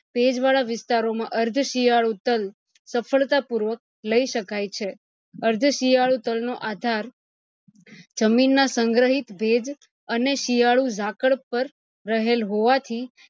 ભેજ વાળા વિસ્તારો માં અર્થ શિયાળુ તલ સફળતા પૂર્વક લઇ શકાય છે અર્થ શિયાળા તલ નો આધાર જમીન ના સંગ્રહિત ભેજ અને શિયાળુ ઝાકળ પર રહેલ હોવાથી